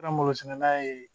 Ka malosɛnɛna ye